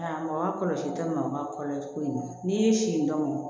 A mɔgɔ kɔlɔsi ka maa kɔlɔsi ko in n'i y'i sin dɔ mɔn